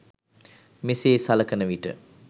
මෙසේ සලකනවිට